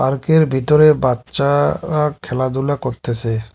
Park -এর ভিতরে বাচ্চা-রা খেলাধুলা করতেসে।